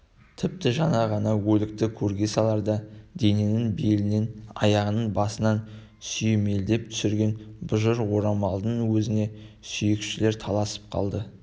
тіпті жаңа ғана өлікті көрге саларда дененің белінен аяғынан басынан сүйемелдеп түсірген бұжыр орамалдардың өзіне сүйекшілер таласып қалды